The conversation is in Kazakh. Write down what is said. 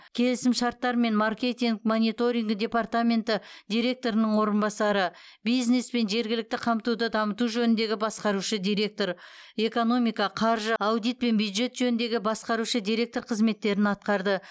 келісімшарттар мен маркетинг монторингі департаменті директорының орынбасары бизнес пен жергілікті қамтуды дамыту жөніндегі басқарушы директор экономика қаржы аудит пен бюджет жөніндегі басқарушы директор қызметтерін атқарды